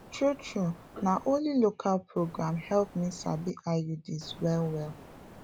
true true na one local program help me sabi iuds well well